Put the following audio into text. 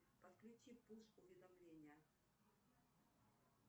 подключи пуш уведомления